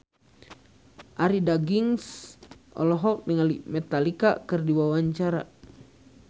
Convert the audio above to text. Arie Daginks olohok ningali Metallica keur diwawancara